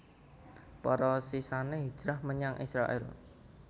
Para sisané hijrah menyang Israèl